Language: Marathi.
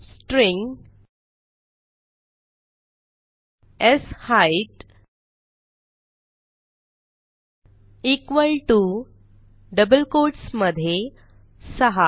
string set equal to double quotes मधे 6